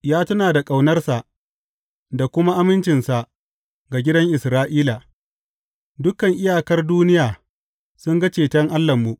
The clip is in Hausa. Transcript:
Ya tuna da ƙaunarsa da kuma amincinsa ga gidan Isra’ila; dukan iyakar duniya sun ga ceton Allahnmu.